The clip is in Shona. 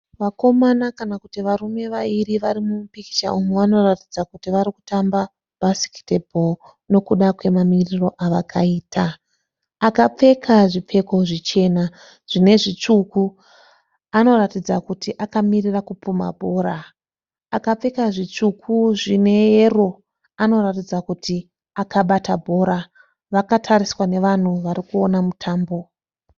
Vakomana kana kuti varume vairi varimupikicha umu vanoratidza kuti varikutamba bhasiketibho nokuda kwemamiriro avakaita. Akapfeka zvipfeko zvichena zvinezvitsvuku anoratidza kuti akamirira kupumha bhora. Akapfeka zvitsvuku zvineyero anoratidza kuti akabata bhora. Vakatariswa nevanhu varikuona mutambo.